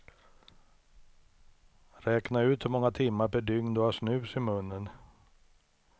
Räkna ut hur många timmar per dygn du har snus i munnen.